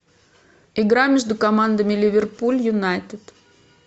игра между командами ливерпуль юнайтед